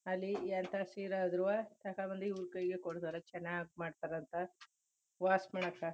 ಅಲ್ಲಿ ಎಂತ ಸೀರೆ ಆದ್ರುವೇ ತಕಬಂದ್ ಇವರು ಕೈಗೆ ಕೊಡ್ತಾರೆ ಚನ್ನಾಗ್ ಮಾಡ್ತಾರೆ ಅಂತ ವಾಶ್ ಮಾಡಾಕ .